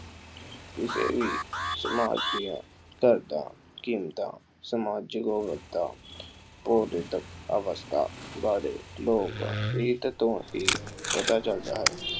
ਕਿਸੇ ਵੀ ਸਮਾਜ ਦੀਆਂ ਦਰਦਾਂ ਕੀਮਤਾਂ ਸਮਾਜਿਕ ਕ੍ਰੋਧਿਤ ਅਵਸਥਾ ਬਾਰੇ ਲੋਕ ਰੀਤ ਤੋਂ ਹੀ ਪਤਾ ਚੱਲਦਾ ਹੈ।